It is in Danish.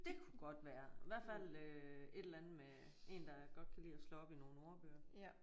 Det kunne godt være hvert fald øh et eller andet med en der godt kan lide at slå op i nogle ordbøger